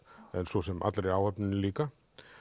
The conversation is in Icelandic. en svo sem allri áhöfninni líka